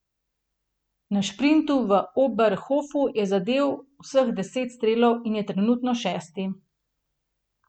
Na šprintu v Oberhofu je zadel vseh deset strelov in je trenutno šesti.